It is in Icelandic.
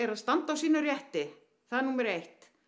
að standa á sínum rétti það er númer eitt